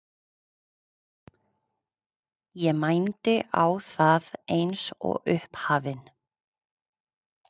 Ég mændi á það eins og upphafinn.